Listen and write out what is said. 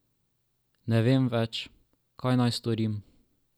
Ne vem več, kaj naj storim.